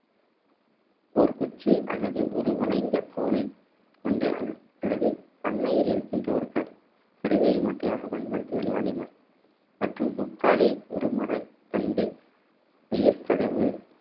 ஒரு குச்சி அல்லது ஒரு வளைந்த கோலை கொண்டு அல்லது பண்ணையில் இருக்கின்ற ஒரு க~ கருவியை மட்டையாக பயன்படுத்தி விளையாடினர் மற்றும் முக்காலி ஒரு மரத்தண்டு, வாயிற்கதவு